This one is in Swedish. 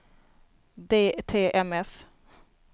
DTMF